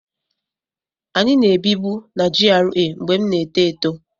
Anyị na-ebibu na GRA mgbe m na-eto eto